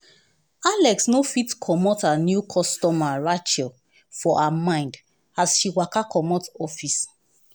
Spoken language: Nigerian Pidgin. alex no fit comot her new customer rachel for her mind as she waka comot office.